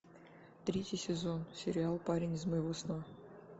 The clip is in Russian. третий сезон сериал парень из моего сна